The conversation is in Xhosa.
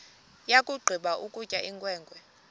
yakugqiba ukutya inkwenkwe